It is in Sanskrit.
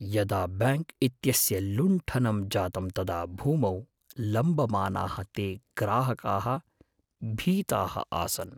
यदा बैङ्क् इत्यस्य लुण्ठनं जातं तदा भूमौ लम्बमानाः ते ग्राहकाः भीताः आसन्।